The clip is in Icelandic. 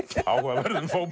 áhugaverðum